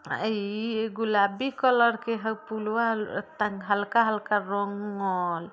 आई ई गुलाबी कलर का हई पुलवा तन हल्का हल्का रंग--